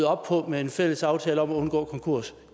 op på med en fælles aftale om at undgå konkurs